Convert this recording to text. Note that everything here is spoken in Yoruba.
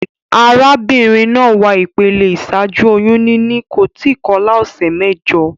Arábínrin naa wà ìpele ìsájú oyún níní, kò tí kolá òsè méjo